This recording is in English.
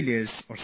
Keep going at it